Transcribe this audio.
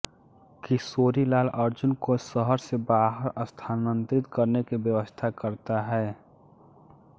किशोरीलाल अर्जुन को शहर से बाहर स्थानांतरित करने की व्यवस्था करता है